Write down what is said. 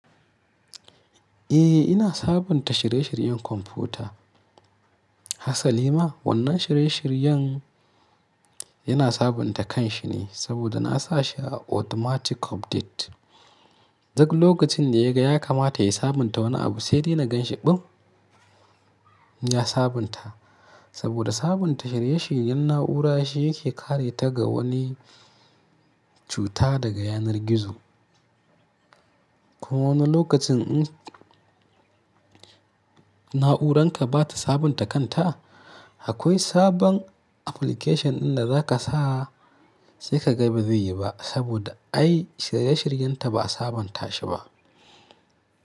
Eh ina sabunta shirye-shiryen kwamfuta. Hasali ma? Wannan shirye-shiryen yana sabunta kanshi ne saboda na sa shi a automatic update. Duk lokacin da ya ga ya kamata ya sabunta wani abu sai dai na gan shi ɓin ya sabunta. Saboda sabunta shirye-shiryen na'ura shi yake kare ta ga wani cuta daga yanar gizo. Ko wani lokacin in na'uranka ba ta sabunta kanta, akwai sabon application ɗin da za ka sa sai ka ga bai zuyi ba saboda ai shirye-shiryenta ba a sabunta shi ba.